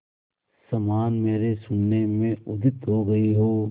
समान मेरे शून्य में उदित हो गई हो